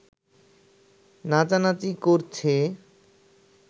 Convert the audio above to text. নাচানাচি করছে